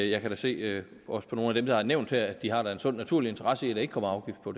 jeg kan da se at også nogle af dem der er nævnt her har en sund og naturlig interesse i at der ikke kommer afgift på